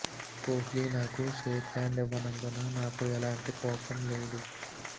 కోహ్లి నాకు shake hand ఇవ్వనందుకు నాకు ఎలాంటి కోపం లేదు